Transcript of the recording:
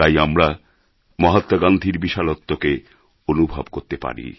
তাই আমরা মহাত্মা গান্ধীর বিশালত্বকে অনুভব করতে পারি